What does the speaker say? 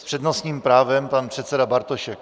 S přednostním právem pan předseda Bartošek.